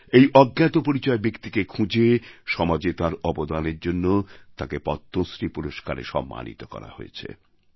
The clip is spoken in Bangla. এই অজ্ঞাতপরিচয় ব্যক্তিকে খুঁজে সমাজে তাঁর অবদানের জন্য তাঁকে পদ্মশ্রী পুরস্কারে সম্মানিত করা হয়েছে